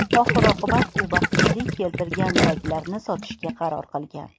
Oxir-oqibat u baxtsizlik keltirgan ziraklarni sotishga qaror qilgan.